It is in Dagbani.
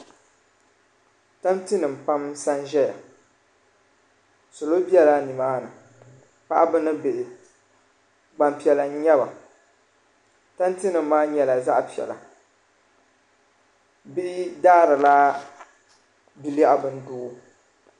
Tanti nim pam n sa n ʒɛya salo bɛla ni maa ni paɣaba ni bihi gbanpiɛla n nyaba tanti nim maa nyɛla zaɣa piɛla bihi daari la bilɛɣu bindoo.